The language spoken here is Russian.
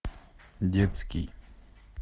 детский